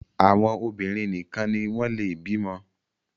àwọn obinrin nìkàn ní wón le bímo